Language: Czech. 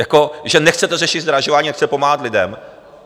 Jako že nechcete řešit zdražování a nechcete pomáhat lidem.